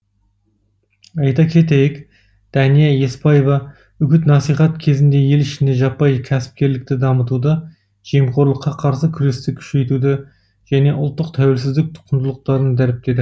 айта кетейік дәния еспаева үгіт насихат кезінде ел ішінде жаппай кәсіпкерлікті дамытуды жемқорлыққа қарсы күресті күшейтуді және ұлттық тәуелсіздік құндылықтарын дәріптеді